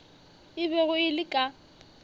e bego e le ka